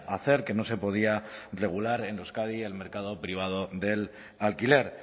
hacer que no se podía regular en euskadi el mercado privado del alquiler